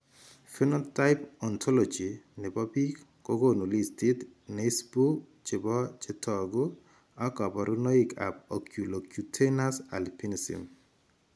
Phenotype ontology nebo biik kokonu listit neisbu nebo chetogu ak kaborunoik ab Oculocutaneous albinism